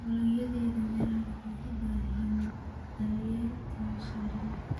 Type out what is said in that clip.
Dalagyada miraha waxay u baahan yihiin daryeel tayo sare leh.